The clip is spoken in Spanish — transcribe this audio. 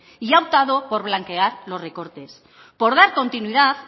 y ha optado por blanquear los recortes por dar continuidad